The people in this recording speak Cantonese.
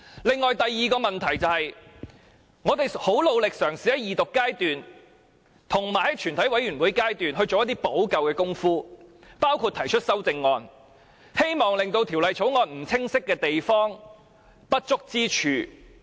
此外，第二個問題是，我們很努力嘗試在二讀及全體委員會階段作出補救，包括提出修正案，希望修補《條例草案》下不清晰的地方、不足之處。